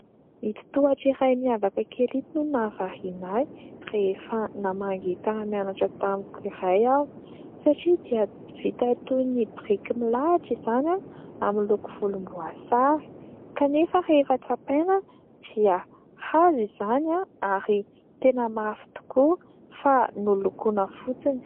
Ito tohatra iray miavaka kely ito no nahavariana ahy ; rehefa namangy mpiara-mianatra tamiko iray aho satria dia vita toy ny biriky milahatra izany amin'ny loko volomboasary kanefa rehefa tsapaina dia hazo izany ary tena mafy tokoa fa nolokoana fotsiny.